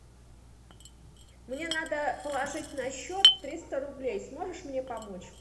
мне надо положить на счет триста рублей сможешь мне помочь